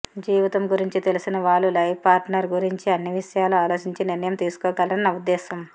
జీవితం గురించి తెలిసిన వాళ్ళు లైఫ్ పార్టనర్ గురించి అన్ని విషయాలు అలోచించి నిర్ణయం తీసుకోగలరని నా ఉద్దేశం